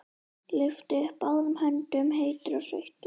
Lyfti upp báðum höndum, heitur og sveittur.